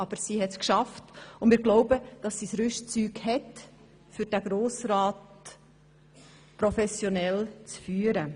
Aber sie hat es geschafft, und wir glauben, sie habe das Rüstzeug, um den Grossen Rat professionell zu führen.